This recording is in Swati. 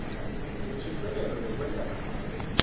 yinshisekelo yekwenta ncono